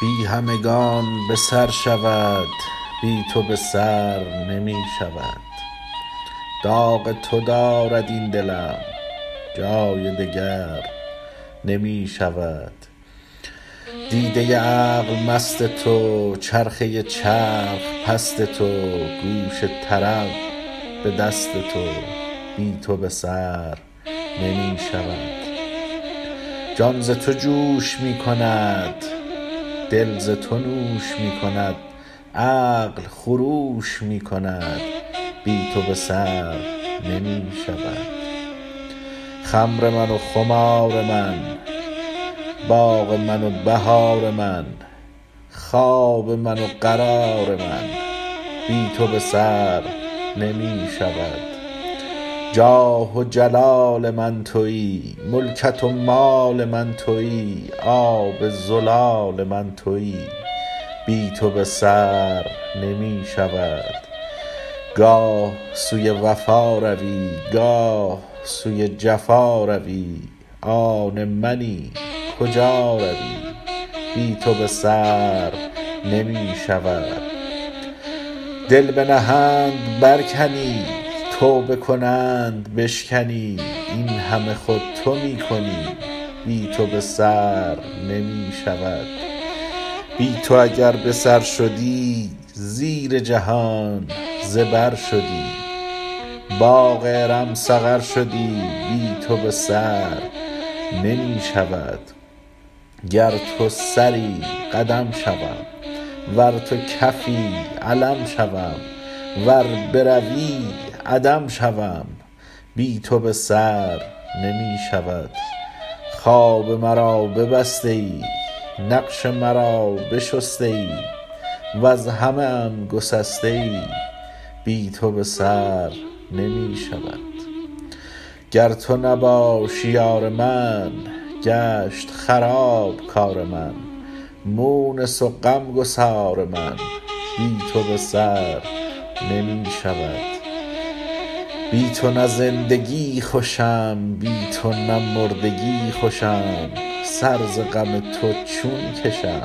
بی همگان به سر شود بی تو به سر نمی شود داغ تو دارد این دلم جای دگر نمی شود دیده عقل مست تو چرخه چرخ پست تو گوش طرب به دست تو بی تو به سر نمی شود جان ز تو جوش می کند دل ز تو نوش می کند عقل خروش می کند بی تو به سر نمی شود خمر من و خمار من باغ من و بهار من خواب من و قرار من بی تو به سر نمی شود جاه و جلال من تویی ملکت و مال من تویی آب زلال من تویی بی تو به سر نمی شود گاه سوی وفا روی گاه سوی جفا روی آن منی کجا روی بی تو به سر نمی شود دل بنهند برکنی توبه کنند بشکنی این همه خود تو می کنی بی تو به سر نمی شود بی تو اگر به سر شدی زیر جهان زبر شدی باغ ارم سقر شدی بی تو به سر نمی شود گر تو سری قدم شوم ور تو کفی علم شوم ور بروی عدم شوم بی تو به سر نمی شود خواب مرا ببسته ای نقش مرا بشسته ای وز همه ام گسسته ای بی تو به سر نمی شود گر تو نباشی یار من گشت خراب کار من مونس و غم گسار من بی تو به سر نمی شود بی تو نه زندگی خوشم بی تو نه مردگی خوشم سر ز غم تو چون کشم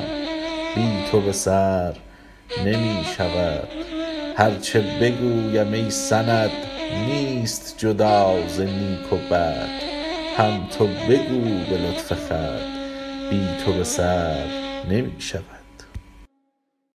بی تو به سر نمی شود هر چه بگویم ای سند نیست جدا ز نیک و بد هم تو بگو به لطف خود بی تو به سر نمی شود